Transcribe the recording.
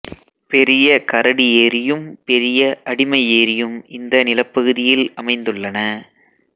பெரிய கரடி ஏரியும் பெரிய அடிமை ஏரியும் இந்த நிலப்பகுதியில் அமைந்துள்ளன